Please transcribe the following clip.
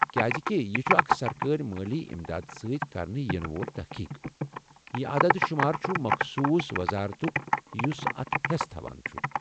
كیازكہِ یہِ چُھ اکھ سرکٲرۍ مٲلی امداد سۭتۍ کرنہٕ ینہٕ وول تحقیق ، یہ عداد شُمار چُھ مخصوص وزارتُك یُس اتھ حیٚس تھاوان چُھ ۔